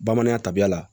Bamanan tabiya la